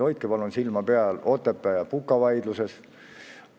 Hoidke palun silma peal Otepää ja Puka vaidlusel!